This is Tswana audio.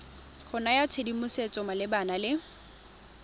go naya tshedimosetso malebana le